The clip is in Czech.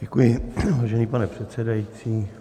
Děkuji, vážený pane předsedající.